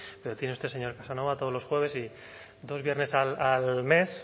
pero tiene usted señor casanova todos los jueves y dos viernes al mes